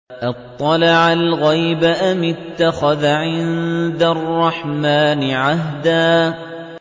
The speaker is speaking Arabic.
أَطَّلَعَ الْغَيْبَ أَمِ اتَّخَذَ عِندَ الرَّحْمَٰنِ عَهْدًا